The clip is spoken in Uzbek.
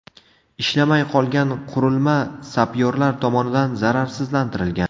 Ishlamay qolgan qurilma sapyorlar tomonidan zararsizlantirilgan.